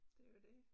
Det jo det